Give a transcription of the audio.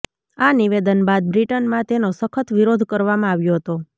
આ નિવેદન બાદ બ્રિટનમાં તેનો સખત વિરોધ કરવામાં આવ્યો હતો